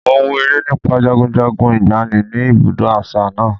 Mo wo eré nípa jagunjagun ìgbàanì ni ibùdó àṣà náà.